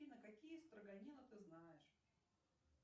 афина какие строганины ты знаешь